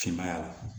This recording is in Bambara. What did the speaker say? Finmaya la